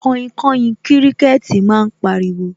Kainkain kíríkẹ́tì máa ń pariwo